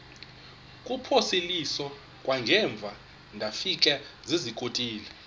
kuphosiliso kwangaemva ndafikezizikotile